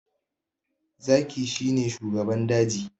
Zaki shi ne shugaban daji